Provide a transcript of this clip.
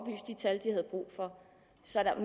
så der